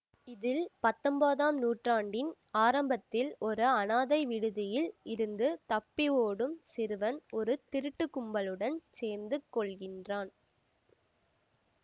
இதில் பத்தொம் போதம் நூற்றாண்டின் ஆரம்பத்தில் ஒரு அனாதை விடுதியில் இருந்து தப்பி ஓடும் சிறுவன் ஒரு திருட்டுக் கும்பலுடன் சேர்ந்து கொள்கின்றான்